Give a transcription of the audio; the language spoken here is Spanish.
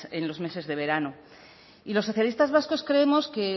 en los meses de verano y los socialistas vascos creemos que